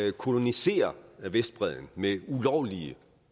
en kolonisering af vestbredden med ulovlige